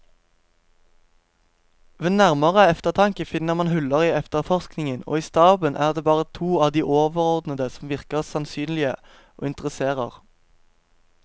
Ved nærmere eftertanke finner man huller i efterforskningen, og i staben er det bare to av de overordnede som virker sannsynlige og interesserer.